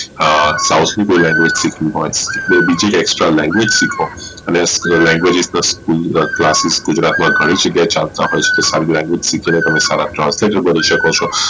એ south ની કોઈ Language શીખવી હોઈ કે બીજી extra Language શીખવી હોઈ અને Language અત્તલે school classis ગુજરાત માં ઘણી જગ્યા એ ચાલતા હોઈ છે સારી Language શીખી ને તમે સારા translat કરી શકો છો